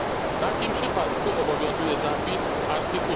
W takim przypadku obowiązuje zapis art.